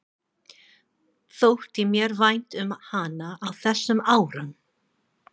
Þótti mér vænt um hana á þessum árum?